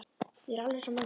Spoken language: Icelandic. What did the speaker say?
Ég er alveg eins og mamma.